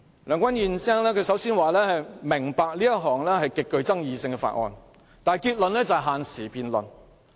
梁君彥議員首先說"明白這是一項極具爭議的法案"，但結論卻是要限時辯論。